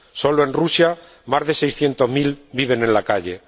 solo en Rusia, más de seiscientos mil viven en la calle